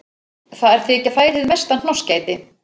Þar þykja þær hið mesta hnossgæti.